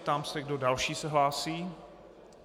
Ptám se, kdo další se hlásí.